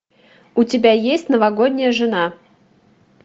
у тебя есть новогодняя жена